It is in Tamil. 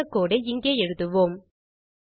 அதற்கான கோடு ஐ இங்கே எழுதுவோம்